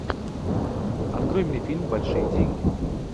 открой мне фильм большие деньги